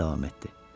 o davam etdi.